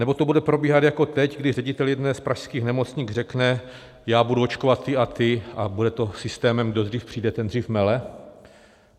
Nebo to bude probíhat jako teď, kdy ředitel jedné z pražských nemocnic řekne: Já budu očkovat ty a ty a bude to systémem kdo dřív přijde, ten dřív mele?